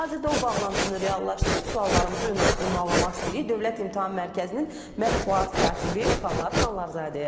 Hazırda o bağlantını reallaşdırıb suallarımızı ünvanlamaq istəyirik Dövlət İmtahan Mərkəzinin mətbuat katibi Xanlar Xanlarzadəyə.